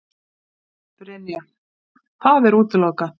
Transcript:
Brynja: Það er útilokað?